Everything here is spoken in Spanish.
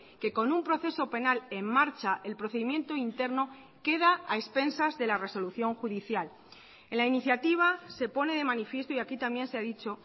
que con un proceso penal en marcha el procedimiento interno queda a expensas de la resolución judicial en la iniciativa se pone de manifiesto y aquí también se ha dicho